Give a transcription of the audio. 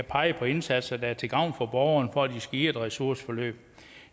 pege på indsatser der er til gavn for borgeren for at de skal i et ressourceforløb